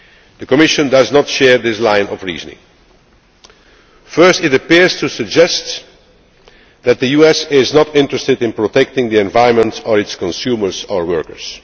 The Commission does not share this line of reasoning. First, it appears to suggest that the US is not interested in protecting the environment or its consumers or workers.